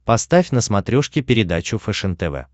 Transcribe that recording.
поставь на смотрешке передачу фэшен тв